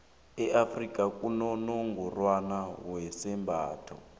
e afrika kunonongorwani wezembatho